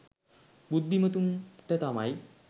බුද්ධිමතුන්ට තමයි.